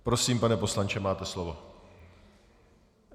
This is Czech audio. Prosím, pane poslanče, máte slovo.